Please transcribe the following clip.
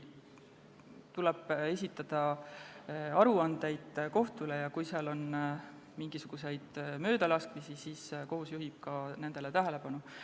Kohtule tuleb esitada aruandeid ja kui on mingisuguseid möödalaskmisi, siis kohus juhib nendele tähelepanu.